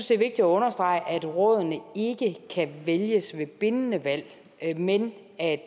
det er vigtigt at understrege at rådene ikke kan vælges ved bindende valg men at